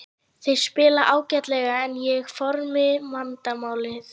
Þeir spila ágætlega en er formið vandamálið?